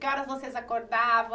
Que horas vocês acordavam?